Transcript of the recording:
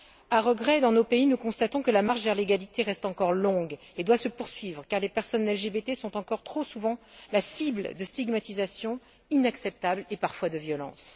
À regret, dans nos pays, nous constatons que la marche vers l'égalité reste encore longue et doit se poursuivre, car les personnes LGBT sont encore, trop souvent, la cible de stigmatisations inacceptables et parfois de violences.